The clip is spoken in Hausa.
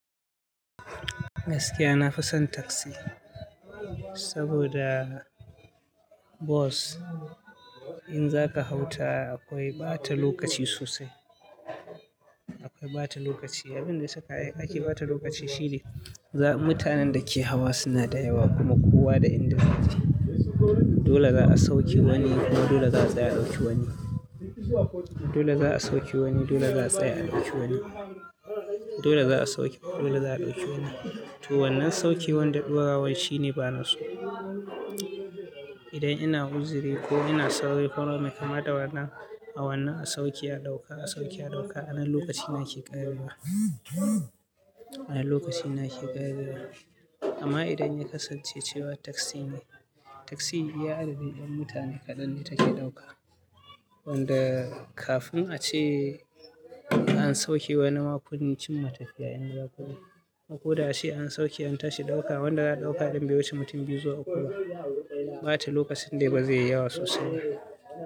Gaskiya nafi son taxi saboda bus, in zaka hau ta akwai ɓata lokaci sosai. Akwai ɓata lokaci. Abin da ya saka ake ɓata lokaci shi ne, mutanen da ke hawa suna da yawa kuma kowa da inda zai tafi. Dole za a sauke wani kuma dole za a tsaya dauki wani. Dole za a sauke wani, dole za a tsaya dauki wani. Dole za a sauke, dole za a ɗauki wani. To wannan saukewan da ɗorawan shine banaso. Idan ina uzuri ko ina sauri, kaga bai kamata hawannan a sauke, a ɗauka, a sauke, a ɗauka, anan lokacin yake ƙarewa. Anan lokacina ke ƙarewa. Amma idan ya kasance cewa taxi ne, taxi iya adadi ɗan mutane kaɗan ne take ɗauka. Wanda kafin ace an sauke wani ma kun cinma tafiya. Kuma koda ace an sauke an tashi ɗauka wanda za a ɗauka bai wuce mutum biyu zuwa uku ba, ɓata lokacin dai bazai yayi yawa sosai ba.